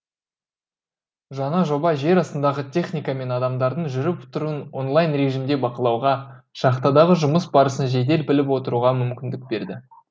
жаңа жоба жер астындағы техника мен адамдардың жүріп тұруын онлайн режимде бақылауға шахтадағы жұмыс барысын жедел біліп отыруға мүмкіндік берді